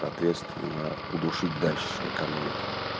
ответственно удушить дальше о каменку